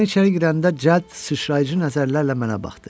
Mən içəri girəndə cəld sıçrayıcı nəzərlərlə mənə baxdı.